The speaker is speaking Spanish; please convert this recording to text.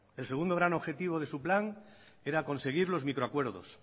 el segundo gran objetivo de su plan era conseguir los micro acuerdos